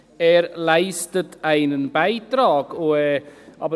«Er leistet einen Beitrag [...]».